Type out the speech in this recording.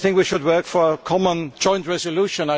I think we should work for a common joint resolution.